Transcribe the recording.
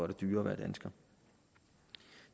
det dyrere at være dansker